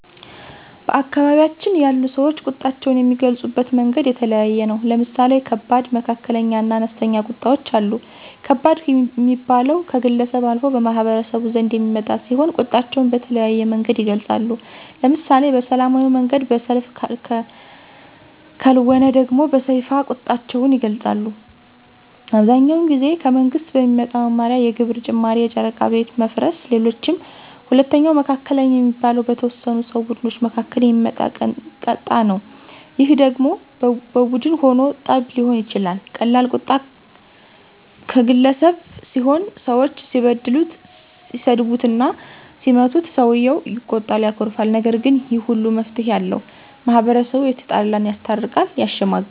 በአካባቢያችን ያሉ ሰወች ቁጣቸውን የሚገልፁበት መንገድ የተለያየ ነው። ለምሳሌ ከባድ፣ መካከለኛ እና አነስተኛ ቁጣወች አሉ። ከባድ ሚባለው ከግለሰብ አልፎ በማህበረሰቡ ዘንድ የሚመጣ ሲሆን ቁጣቸውን በተለያየ መንገድ ይገልፃሉ። ለምሳሌ በሰላማዊ መንገድ በሰልፍ ከልወነ ደሞ በሰይፍ ቁጣቸውን ይገልጣሉ። አብዛኛውን ጊዜ ከመንግስት በሚመጣ መመሪያ የግብር ጭማሪ የጨረቃ ቤት መፍረስ ሌሎችም። ሁለተኛው መካከለኛ የሚባለው በተወሰኑ ሰው ቡድኖች መካከል የሚመጣ ቀጣ ነው ይህ ደሞ በቡን ሁኖ ጠብ ሊሆን ይችላል ቀላል ቁጣ ቀገለሰብ ሲሆን ሰወች ሲበድሉት ሲሰድቡትና ሲመቱት ሰውየው ይቆጣል ያኮርፋል። ነገር ግን ይህ ሁሉ መፍትሄ አለው። ማህበረሰቡ የተጣላን ያስታርቃል። ያሸመግላል